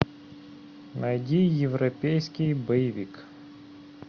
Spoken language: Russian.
найди европейский боевик